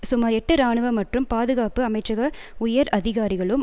சுமார் எட்டு ராணுவ மற்றும் பாதுகாப்பு அமைச்சக உயர் அதிகாரிகளும்